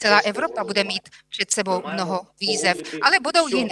Celá Evropa bude mít před sebou mnoho výzev, ale budou jiné.